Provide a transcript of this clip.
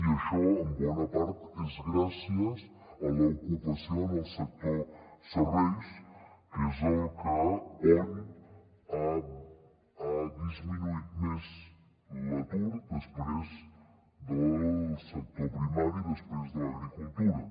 i això en bona part és gràcies a l’ocupació en el sector serveis que és on ha disminuït més l’atur després del sector primari després de l’agricultura